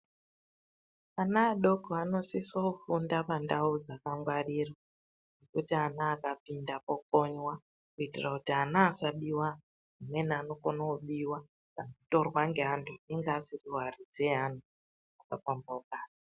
Vana vadoko vanosisa Kufunda pandau dzakangwarirwa kuti mwana akapinda pokonywa kuitira kuti ana asa biwa amweni anokona kubiwa kana kutorwa neantu Iwo asiri varidzi vevantu zvakapambaukana.